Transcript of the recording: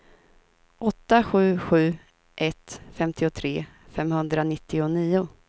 åtta sju sju ett femtiotre femhundranittionio